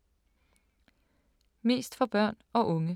Mest for børn og unge